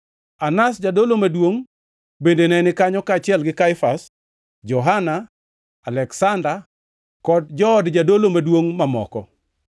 Anas, jadolo maduongʼ, bende ne ni kanyo, kaachiel gi Kaifas, Johana, Aleksanda, kod jood jadolo maduongʼ mamoko.